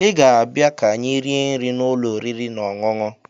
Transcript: Ị ga-abịa ka anyị rie nri n'ụlọ oriri na ọṅụṅụ